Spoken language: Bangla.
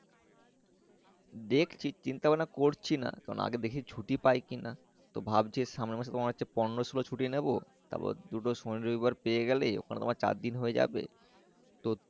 দেখছি চিন্তা ভাবনা করছি না কারণ আগে দেখি ছুটি পাই কি না তো ভাবছি সামনের মাসে পন্ড শিলার ছুটি নিবো তার পর দুটো শনি রবি বার ছুটি পেয়ে গেলেই ওখানে তোমার চারদিন হয়ে যাবে তো।